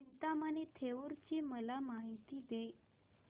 चिंतामणी थेऊर ची मला माहिती दे